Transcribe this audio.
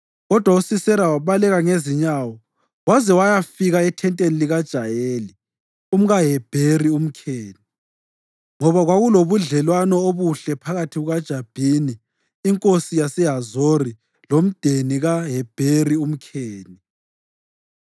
Kodwa uSisera wabaleka ngezinyawo waze wayafika ethenteni likaJayeli, umkaHebheri umKheni, ngoba kwakulobudlelwano obuhle phakathi kukaJabhini inkosi yaseHazori lomndeni kaHebheri umKheni.